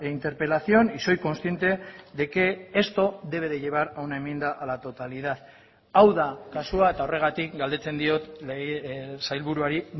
interpelación y soy consciente de que esto debe de llevar a una enmienda a la totalidad hau da kasua eta horregatik galdetzen diot sailburuari